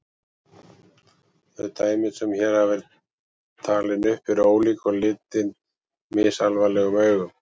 Þau dæmi sem hér hafa verið talin upp eru ólík og litin misalvarlegum augum.